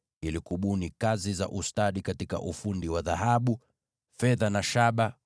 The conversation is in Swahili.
ili kubuni michoro ya kupendeza katika ufundi wa dhahabu, fedha na shaba,